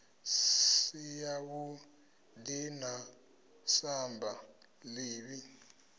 si yavhuḓi na samba ḓivhi